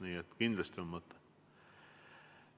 Nii et kindlasti on mõte.